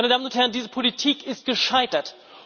Meine Damen und Herren, diese Politik ist gescheitert!